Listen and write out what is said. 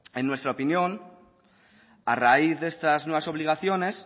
en nuestra opinión a raíz de estas nuevas obligaciones